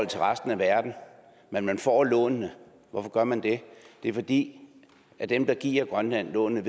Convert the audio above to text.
til resten af verden men man får lånene hvorfor gør man det det er fordi dem der giver grønland lånene